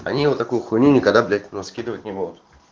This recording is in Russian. они вот такую хуйню никогда блять ну скидывать не будут